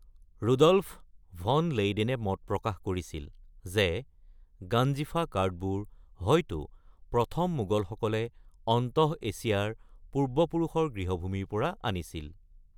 Rudolf von লেইডেনে মত প্ৰকাশ কৰিছিল যে গাঞ্জিফা কাৰ্ডবোৰ হয়তো প্ৰথম মোগলসকলে অন্তঃএছিয়াৰ পূৰ্বপুৰুষৰ গৃহভূমিৰ পৰা আনিছিল।